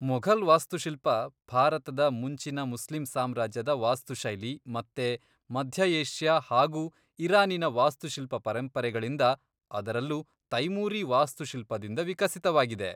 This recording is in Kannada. ಮೊಘಲ್ ವಾಸ್ತುಶಿಲ್ಪ ಭಾರತದ ಮುಂಚಿನ ಮುಸ್ಲಿಂ ಸಾಮ್ರಾಜ್ಯದ ವಾಸ್ತು ಶೈಲಿ ಮತ್ತೆ ಮಧ್ಯ ಏಷ್ಯಾ ಹಾಗೂ ಇರಾನಿನ ವಾಸ್ತುಶಿಲ್ಪ ಪರಂಪರೆಗಳಿಂದ, ಅದರಲ್ಲೂ ತೈಮೂರೀ ವಾಸ್ತುಶಿಲ್ಪದಿಂದ ವಿಕಸಿತವಾಗಿದೆ